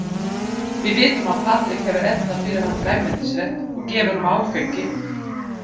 Við vitum að Patrik hefur eldað fyrir hann grænmetisrétt og gefið honum áfengi.